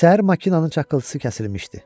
Səhər maşının çakıltısı kəsilmişdi.